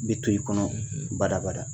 Bi to i kɔnɔ badabada.